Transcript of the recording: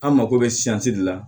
An mako bɛ de la